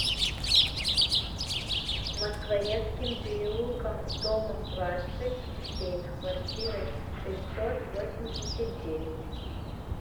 москворецким переулком домом двадцать семь в квартирой шестьсот восемьдесят девять